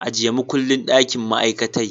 Ajiye makullin dakin ma'aikatai